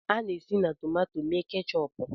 A na-esi na tomato mee keechup